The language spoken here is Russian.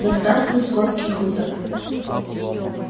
да здравствует скотский хутор